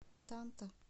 танта